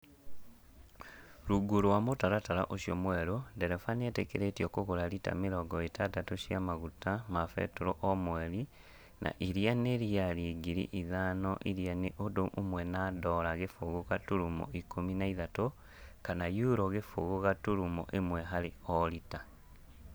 Rungu rwa mũtaratara ũcio mwerũ, ndereba nĩ etĩkĩrĩtio kũgũra rita mĩrongo ĩtandatũ cia maguta ma betũrũ o mweri na irĩa n riari ngiri ithano irĩa nĩ ũndũ ũmwe na dora gĩbũgũ gaturuma ikũmi na ithatũ, kana yurũ gũbũgũ gaturuma ĩmwe harĩ o rita.